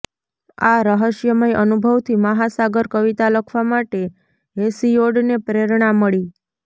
આ રહસ્યમય અનુભવથી મહાસાગર કવિતા લખવા માટે હેસિયોડને પ્રેરણા મળી